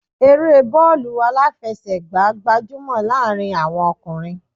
Eré bọọlu aláfẹsẹ̀gá gbajúmò láàrin àwọn ọkùnrin